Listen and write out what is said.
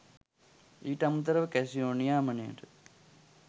ඊට අමතරව කැසිනෝ නියාමනයට